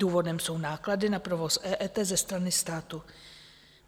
Důvodem jsou náklady na provoz EET ze strany státu.